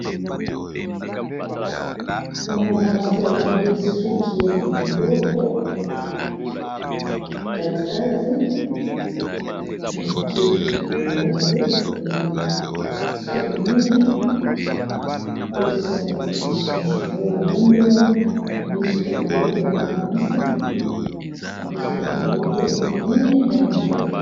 Awa naomona mwana mwasi bakangi esuki ya maboko nakktiy mikeibba basuki ya minene bakotisi yango meshe na nsima baye bagumbi yango bakangi esuki ya mabokoeza mwana mwasi baangi esuki ya maboko ya minene na ya mike